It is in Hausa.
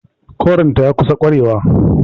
Korin ta ya kusa ƙarewa.